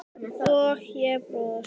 og ég brosti.